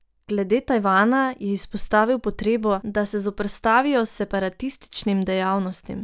Glede Tajvana je izpostavil potrebo, da se zoperstavijo separatističnim dejavnostim.